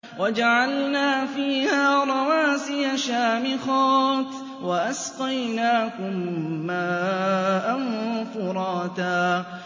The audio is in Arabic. وَجَعَلْنَا فِيهَا رَوَاسِيَ شَامِخَاتٍ وَأَسْقَيْنَاكُم مَّاءً فُرَاتًا